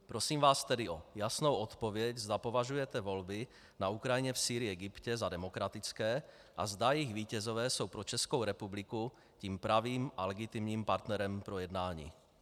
Prosím vás tedy o jasnou odpověď, zda považujete volby na Ukrajině, v Sýrii, Egyptě za demokratické a zda jejich vítězové jsou pro Českou republiku tím pravým a legitimním partnerem pro jednání.